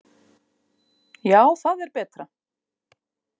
Já, það er betra.